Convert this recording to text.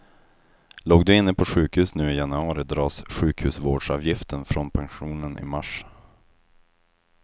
Låg du inne på sjukhus nu i januari dras sjukhusvårdsavgiften från pensionen i mars.